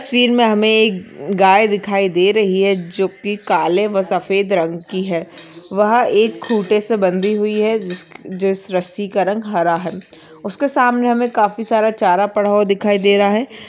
स्वीर मे हमे एक गाय दिखाई दे रही है जो की काले व सफ़ेद रंग की है वह एक खूटे से बंधी हुई है जीसक जिस रस्सी का रंग हरा है उसके सामने हमे काफी सारा चारा पड़ा हुआ दिखाई दे रहा है।